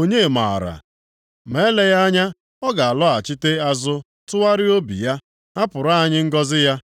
Onye maara? Ma eleghị anya ọ ga-alọghachite azụ tụgharịa obi ya, hapụrụ anyị ngọzị ya,